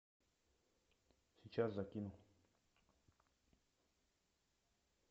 сейчас закину